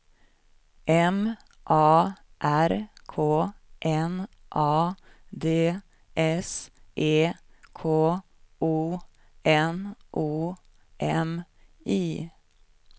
M A R K N A D S E K O N O M I